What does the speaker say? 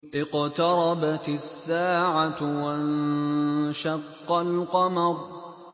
اقْتَرَبَتِ السَّاعَةُ وَانشَقَّ الْقَمَرُ